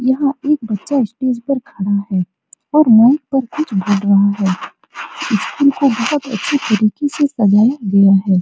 यहाँ एक बच्चा स्टेज पर खड़ा है और माइक पर कुछ बोल रहा है स्कूल को बहोत अच्छे तरिके से सजाया गया है।